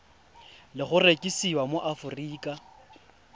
le go rekisiwa mo aforika